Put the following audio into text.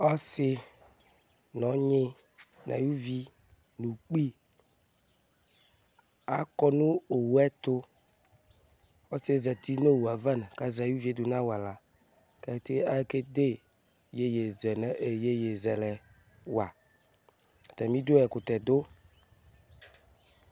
ɔsi nu ɔnyi nu ayuvi nu ukpi akɔ nu owuɛ tu kɔsiɛ zeti nu owuɛava kazɛ ayuvi nu awala kakede yeye zelɛwa atamidu ɛkutɛdu